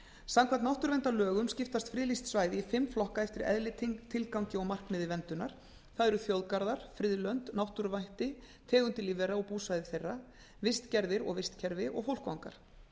samkvæmt náttúruverndarlögum skiptast friðlýst svæði í fimm flokka eftir eðli tilgangi og markmiði verndunar það eru þjóðgarðar friðlönd náttúruvætti tegundir lífvera og búsvæði þeirra vistgerðir og vistkerfi og fólkvangar